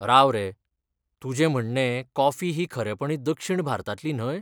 राव रे! तुजें म्हणणें कॉफी ही खरेपणी दक्षिण भारतांतली न्हय?